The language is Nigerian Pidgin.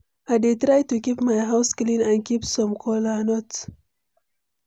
i dey try to keep my house clean and keep some kola nut.